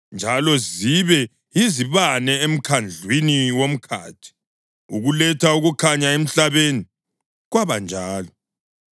njalo zibe yizibane emkhandlwini womkhathi ukuletha ukukhanya emhlabeni.” Kwabanjalo.